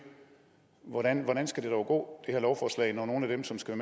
hvordan hvordan skal det dog gå det her lovforslag når nogle af dem som skal